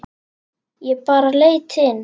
Ég bara leit inn.